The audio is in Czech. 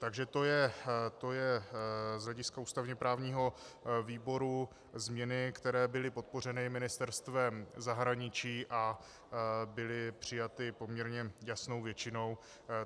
Takže to jsou z hlediska ústavně právního výboru změny, které byly podpořeny Ministerstvem zahraničí a byly přijaty poměrně jasnou většinou.